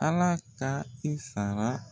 Ala ka i sara